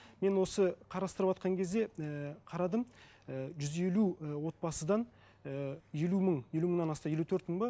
мен осы қарастырыватқан кезде ііі қарадым і жүз елу і отбасыдан і елу мың елу мыңнан асты елу төрт мың ба